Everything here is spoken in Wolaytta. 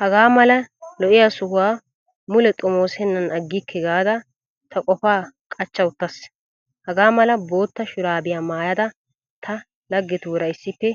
Hagaamala lo'iyaa sohuwaa mule xomoosennan aggikke gaada ta qofaa qachcha uttas. Hagaa mala bootta shuraabiyaa maayyada ta laggetuura issippe